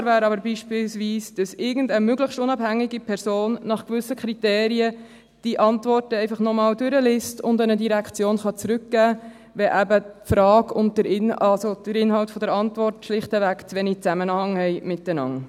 Denkbar wäre aber beispielsweise, dass irgendeine möglichst unabhängige Person die Antworten nach gewissen Kriterien einfach noch einmal durchliest und an eine Direktion zurückmelden kann, wenn eben die Frage und der Inhalt, also der Inhalt der Antwort, schlichtweg zu wenig Zusammenhang haben miteinander.